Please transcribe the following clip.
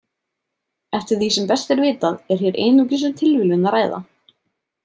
Eftir því sem best er vitað er hér einungis um tilviljun að ræða.